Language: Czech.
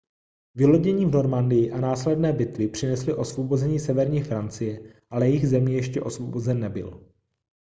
vylodění v normandii a následné bitvy přinesly osvobození severní francie ale jih země ještě osvobozen nebyl